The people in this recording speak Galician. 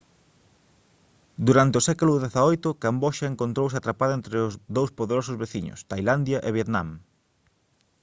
durante o século xviii camboxa encontrouse atrapada entre dous poderosos veciños tailandia e vietnam